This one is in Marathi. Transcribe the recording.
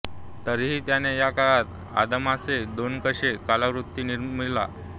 तरीही त्याने या काळात अदमासे दोनेकशे कलाकृती निर्मिल्या